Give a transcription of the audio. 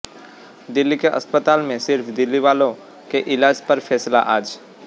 दिल्ली के अस्पतालों में सिर्फ दिल्ली वालों के इलाज पर फैसला आज